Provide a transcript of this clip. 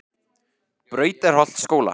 Brautarholtsskóla